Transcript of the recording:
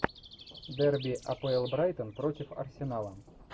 дерби апл брайтон против арсенала